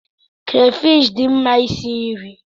Krafish dị mma isi nri.